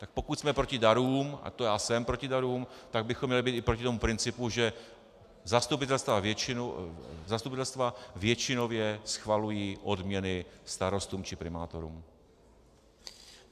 Tak pokud jsme proti darům, a to já jsem proti darům, tak bychom měli být i proti tomu principu, že zastupitelstva většinově schvalují odměny starostům či primátorům.